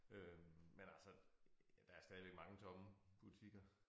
Øh men altså der er stadigvæk mange tomme butikker